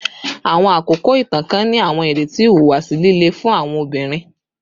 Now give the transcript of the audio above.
Awọn akoko itan kan ni awọn ireti ihuwasi lile fun awọn obinrin